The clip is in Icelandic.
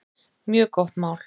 Mjög gott mál.